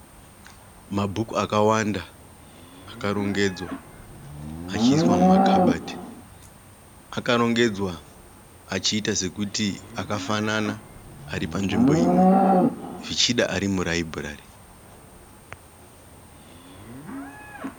Mabhuku akawanda akarongedzwa achiiswa mumakabati. Akarongedzwa achiita sekuti akafanana ari panzvimbo imwe. Zvichida ari muraibhurari.